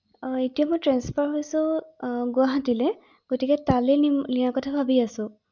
অ এতিয়া মই ট্ৰেন্সফাৰ হৈছো গুৱাহাটীলৈ গতিকে তালৈ নিয়াৰ কথা ভাবি আছো ৷